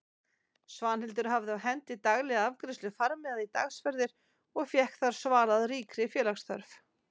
Svanhildur hafði á hendi daglega afgreiðslu farmiða í dagsferðir og fékk þar svalað ríkri félagsþörf.